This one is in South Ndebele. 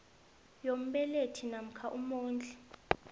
yombelethi namkha umondli